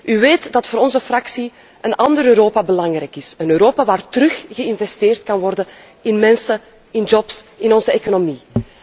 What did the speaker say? U weet dat voor onze fractie een ander Europa belangrijk is, een Europa waar terug geïnvesteerd kan worden in mensen, in banen, in onze economie.